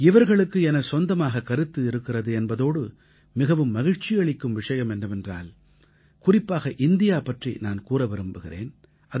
இவர்களுக்கு எனச் சொந்தமாக கருத்து இருக்கிறது என்பதோடு மிகவும் மகிழ்ச்சி அளிக்கும் விஷயம் என்னவென்றால் குறிப்பாக இந்தியா பற்றி நான் கூற விரும்புகிறேன்